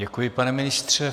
Děkuji, pane ministře.